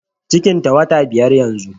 Cikin ta wata biyar yanzu